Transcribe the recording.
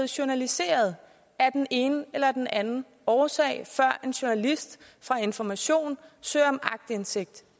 journaliseret af den ene eller den anden årsag før en journalist fra information søger om aktindsigt